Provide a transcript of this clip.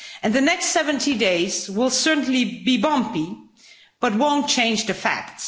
The next 70 days will certainly be bumpy, but they won't change the facts.